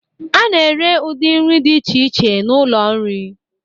A na-ere ụdị nri dị iche iche n'ụlọ nri.